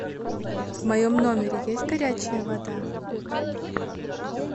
в моем номере есть горячая вода